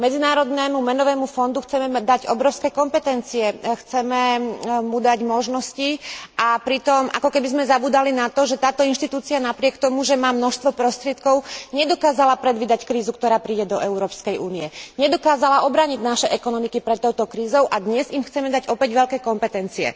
Medzinárodnému menovému fondu chceme dať obrovské kompetencie, chceme mu dať možnosti, a pritom akoby sme zabúdali na to, že táto inštitúcia napriek tomu, že má množstvo prostriedkov, nedokázala predvídať krízu, ktorá príde do Európskej únie, nedokázala obrániť naše ekonomiky pred touto krízou, a dnes jej chceme dať opäť veľké kompetencie.